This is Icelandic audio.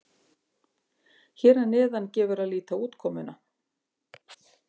Hér að neðan gefur að líta útkomuna.